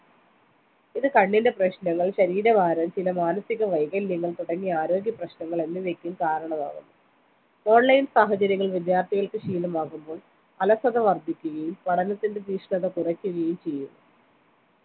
ഇത് കണ്ണിൻ്റെ പ്രശ്‌ണങ്ങൾ ശരീരഭാരം ചില മാനസിക വൈകല്യങ്ങൾ തുടങ്ങിയ ആരോഗ്യ പ്രശ്ണങ്ങൾ എന്നിവയ്ക്കും കാരണമാവും online സാഹചര്യങ്ങളിൽ വിദ്യാർത്ഥികൾക്ക് ശീലമാകുമ്പോൾ അലസത വർധിക്കുകയും പഠനത്തിന്റെ തീക്ഷണത കുറയ്ക്കുകയും